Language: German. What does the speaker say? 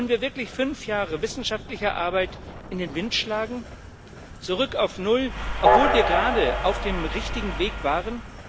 Wollen wir wirklich fünf Jahre wissenschaftlicher Arbeit in den Wind schlagen zurück auf null obwohl wir gerade auf dem richtigen Weg waren?